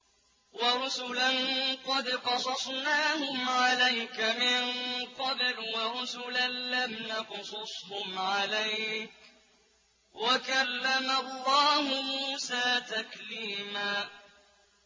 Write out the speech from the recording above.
وَرُسُلًا قَدْ قَصَصْنَاهُمْ عَلَيْكَ مِن قَبْلُ وَرُسُلًا لَّمْ نَقْصُصْهُمْ عَلَيْكَ ۚ وَكَلَّمَ اللَّهُ مُوسَىٰ تَكْلِيمًا